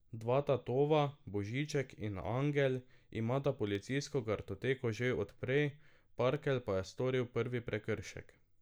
Dva tatova, Božiček in angel, imata policijsko kartoteko že od prej, parkelj pa je storil prvi prekršek.